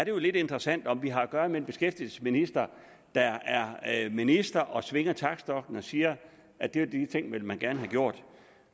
jo lidt interessant om vi har at gøre med en beskæftigelsesminister der er minister og svinger taktstokken og siger at de og de ting vil man gerne have gjort